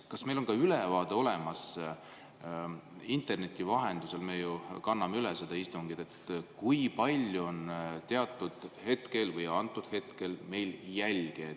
Kas meil on olemas ülevaade, et kui me interneti vahendusel kanname üle seda istungit, siis kui palju on meil hetkel jälgijaid?